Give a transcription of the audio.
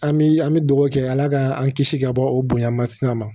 An bi an bi dugawu kɛ ala ka an kisi ka bɔ o bonya masina ma